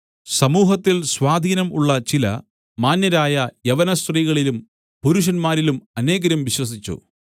സമൂഹത്തിൽ സ്വാധീനം ഉള്ള ചില മാന്യരായ യവനസ്ത്രീകളിലും പുരുഷന്മാരിലും അനേകരും വിശ്വസിച്ചു